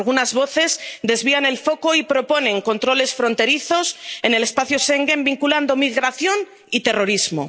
Algunas voces desvían el foco y proponen controles fronterizos en el espacio Schengen, vinculando migración y terrorismo.